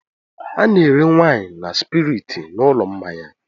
A na-ere waịnị na spiriiti n'ụlọ mmanya.